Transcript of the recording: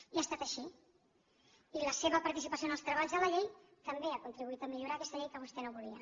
i ha estat així i la seva participació en els treballs de la llei també ha contribuït a millorar aquesta llei que vostè no volia